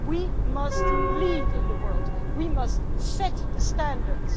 we must lead in the world, we must set the standards.